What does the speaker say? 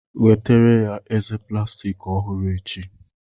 Nwetara ya eze plastiki ọhụrụ echi.